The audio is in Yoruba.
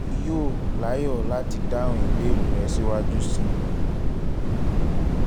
èmi yóò láyọ̀ láti dáhùn ìbéèrè rẹ síwájú sí i